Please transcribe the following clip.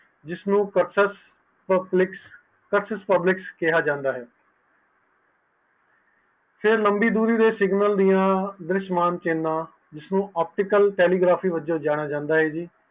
ਇਸ ਨੂੰ process publics ਕਿਹਾ ਜਾਂਦਾ ਹੈ ਤੇ ਲੰਬੀ ਦੂਰੇ ਦੇ ਸਿਗਨਲ ਦੀਆ ਜਿਸਨੂੰ optical telegraphy ਵਲੋਂ ਜਾਣਿਆ ਜਾਂਦਾ ਹੈ